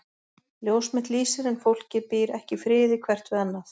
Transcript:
Ljós mitt lýsir en fólkið býr ekki í friði hvert við annað.